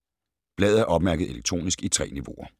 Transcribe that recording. Bladet er opmærket elektronisk i 3 niveauer.